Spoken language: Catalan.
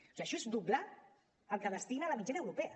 o sigui això és doblar el que destina la mitjana europea